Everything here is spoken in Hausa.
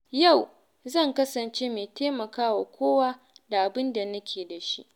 Yau, zan kasance mai taimakawa kowa da abin da nake da shi.